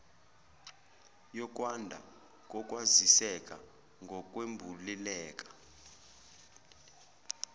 yokwanda kokwaziseka ngokwembuleleka